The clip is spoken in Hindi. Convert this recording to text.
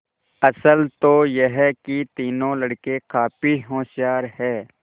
असल तो यह कि तीनों लड़के काफी होशियार हैं